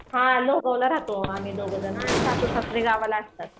हा लोहगावला रहातो आम्ही दोघेजण आणि सासू सासरा गावी असंतात.